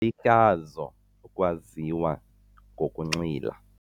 Lihlazo ukwaziwa ngokunxila.